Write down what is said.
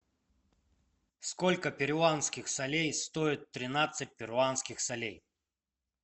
сколько перуанских солей стоит тринадцать перуанских солей